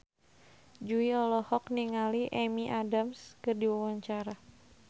Jui olohok ningali Amy Adams keur diwawancara